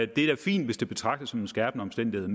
det da fint hvis det betragtes som en skærpende omstændighed